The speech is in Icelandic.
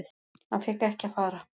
Hann fékk ekki að fara.